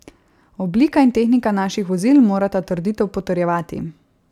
Oblika in tehnika naših vozil morata trditev potrjevati.